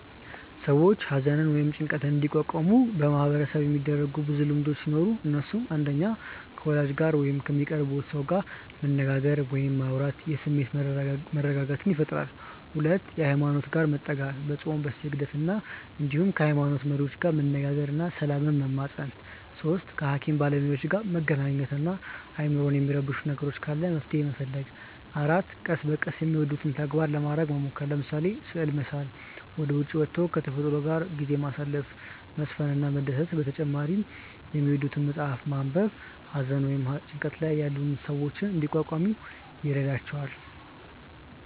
ሰዎች ሃዘንን ወይም ጭንቀትን እንዲቋቋሙ በማህበረሰቡ የሚደረጉ ብዙ ልምዶቹ ሲኖሩ እነሱም፣ 1. ከ ወዳጅ ጋር ወይም ከሚቀርቡት ሰው ጋር መነጋገር ወይም ማውራት የስሜት መረጋጋትን ይፈጥራል 2. ሃይማኖት ጋር መጠጋት፦ በፆም፣ በስግደት እንዲሁም ከ ሃይሞኖት መሪዎች ጋር መነጋገር እና ሰላምን መማፀን 3. ከ ሃኪም ባለሞያዎች ጋር መገናኘት እና አይምሮን የሚረብሽ ነገር ካለ መፍትሔ መፈለግ 4. ቀስ በቀስ የሚወዱትን ተግባራት ለማረግ መሞከር፤ ለምሳሌ፦ ስዕል መሳል፣ ወደ ዉጪ ወቶ ከ ተፈጥሮ ጋር ጊዜ ማሳለፍ፣ መዝፈን እና መደነስ በተጨማሪ የሚወዱትን መፅሐፍ ማንበብ ሃዘን ወይም ጭንቀት ላይ ያሉ ሰዎችን እንዲቋቋሙ ይረዷቸዋል።